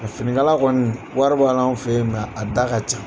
Finikala kɔni wari b'a la an fɛ ye a da ka ca.